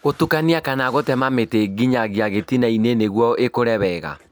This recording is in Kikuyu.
Gũtukania kana gũtema mĩtĩ nginyagia gĩtina-inĩ nĩguo ikũre wega